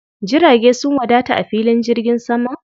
Jirage sun wadata a filin jirgin saman?